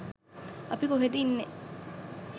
අපි කොහෙද ඉන්නේ